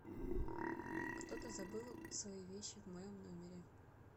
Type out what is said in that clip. кто то забыл свои вещи в моем номере